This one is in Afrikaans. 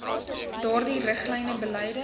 duidelike riglyne beleide